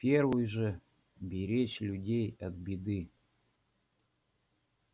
первый же беречь людей от беды